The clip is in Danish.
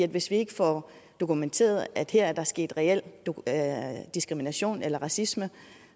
hvis vi ikke får dokumenteret at her er der sket reel diskrimination eller racisme